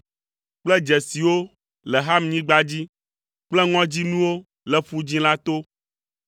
kple dzesiwo le Hamnyigba dzi kple ŋɔdzinuwo le Ƒu Dzĩ la to.